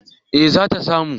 eh zata samu